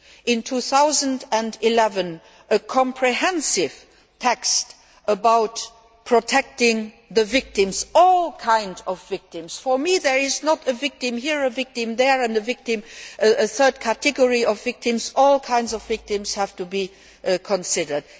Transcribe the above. In 2011, a comprehensive text about protecting the victims, all kinds of victims for me there is not a victim here, a victim there and a third category of victims all kinds of victims have to be considered.